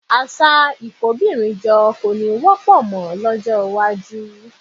Àṣà ìkóbìnrinjọ kò ní wọ́pọ̀ mọ́ lọ́jọ́ iwájú